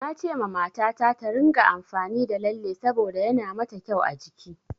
Nacewa mata ta, ta ringa amfani da lalle saboda yana ma ta kyau a jiki.